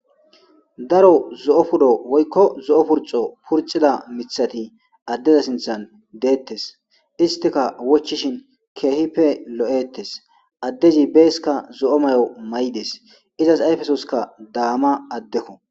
daro zo7o pudo woykko zo7o purxo purcida mithati addeza sinthan deettes istika wochishin keehippe lo7ettes addezi beesika zo7o may7o may7des izas ayfesoska daama addekko